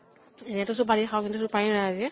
এনেইটো চুপাৰী খাওঁ, চুপাৰী নাই আজি।